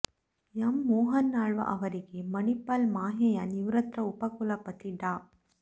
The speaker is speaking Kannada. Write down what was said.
ಎಂ ಮೋಹನ್ ಆಳ್ವ ಅವರಿಗೆ ಮಣಿಪಾಲ ಮಾಹೆಯ ನಿವೃತ್ತ ಉಪಕುಲಪತಿ ಡಾ